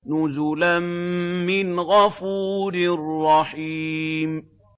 نُزُلًا مِّنْ غَفُورٍ رَّحِيمٍ